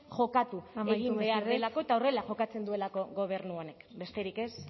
jokatu egin behar delako eta horrela jokatzen duelako gobernu honek besterik ez